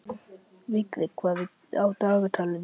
Vigri, hvað er á dagatalinu í dag?